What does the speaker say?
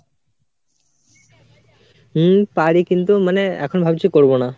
হম, পারি কিন্তু মানে এখন ভাবছি করবো না।